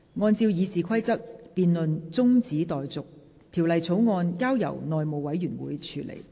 按照《議事規則》，辯論中止待續，條例草案交由內務委員會處理。